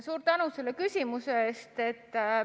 Suur tänu selle küsimuse eest!